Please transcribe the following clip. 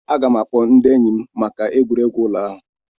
Aga m ga-akpọ ndị enyi m maka egwuregwu ụlọ ahụ.